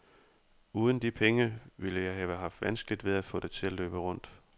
Uden de penge ville jeg have haft vanskeligt ved at få det til at løbe rundt.